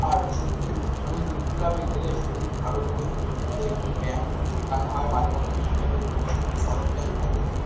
আর সত্যি মানে health club -এ গেলে শরীর ভালো থাকে শরীর সুস্থ থাকে। এখানে ব্যায়াম ফ্যায়াম শেখানো হয়। মাঝে মাঝে জিম এর ও কিছু সরঞ্জাম থাকে। যেখানে--